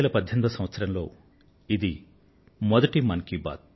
2018 సంవత్సరంలో ఇది మొదటి మనసులో మాట